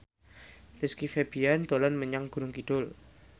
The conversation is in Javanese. Rizky Febian dolan menyang Gunung Kidul